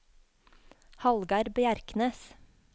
Hallgeir Bjerknes